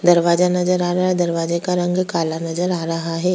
दरवाजा नजर आ रहा है दरवाजा का रंग काला नजर आ रहा है।